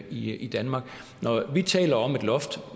i i danmark når vi taler om et loft